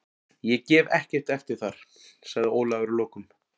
Ég gef ekkert eftir þar, sagði Ólafur að lokum.